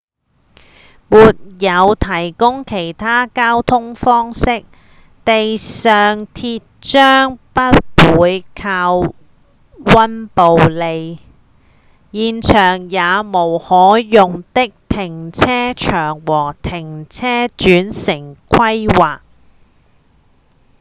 沒有提供其他的交通方式、地上鐵將不會停靠溫布利現場也無可用的停車場與停車轉乘規劃